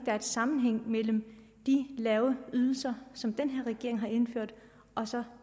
er en sammenhæng mellem de lave ydelser som den her regering har indført og så